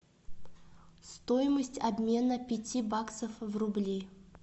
стоимость обмена пяти баксов в рубли